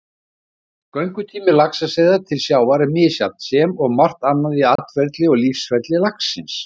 Göngutími laxaseiða til sjávar er misjafn sem og margt annað í atferli og lífsferli laxins.